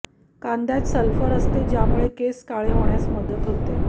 कांद्यात सल्फर असते ज्यामुळे केस काळे होण्यास मदत होते